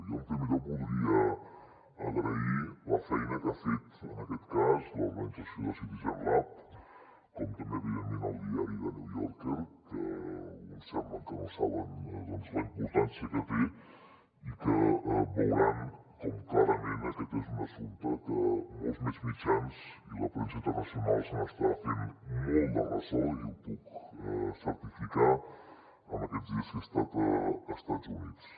jo en primer lloc voldria agrair la feina que ha fet en aquest cas l’organització de citizen lab com també evidentment el diari the new yorker que alguns sembla que no saben la importància que té i que veuran com clarament aquest és un assumpte que molts més mitjans i la premsa internacional se n’estan fent molt de ressò i ho puc certificar en aquests dies que he estat a estats units